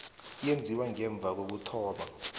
eyenziwe ngemva kokuthoma